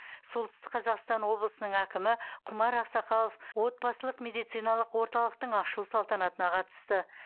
солтүстік қазақстан облысының әкімі құмар ақсақалов отбасылық медициналық орталықтың ашылу салтанатына қатысты